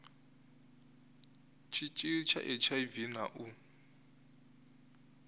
tshitshili tsha hiv na u